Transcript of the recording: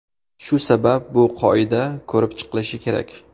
Shu sabab bu qoida ko‘rib chiqilishi kerak.